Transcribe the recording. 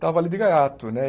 Estava ali de gaiato, né?